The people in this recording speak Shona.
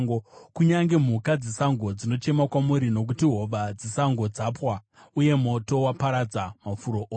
Kunyange mhuka dzesango dzinochema kwamuri; nokuti hova dzesango dzapwa uye moto waparadza mafuro ose.